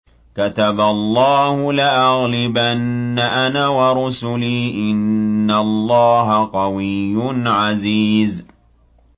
كَتَبَ اللَّهُ لَأَغْلِبَنَّ أَنَا وَرُسُلِي ۚ إِنَّ اللَّهَ قَوِيٌّ عَزِيزٌ